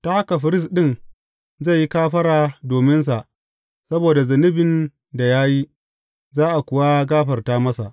Ta haka firist ɗin zai yi kafara dominsa saboda zunubin da ya yi, za a kuwa gafarta masa.